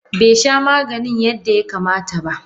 Besha maganin yadda ya kamata ba.